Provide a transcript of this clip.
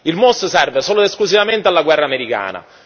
Il MUOS serve solo ed esclusivamente alla guerra americana.